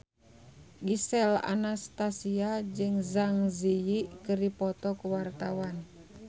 Gisel Anastasia jeung Zang Zi Yi keur dipoto ku wartawan